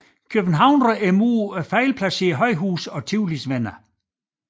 Københavnere mod fejlplacerede højhuse og Tivolis venner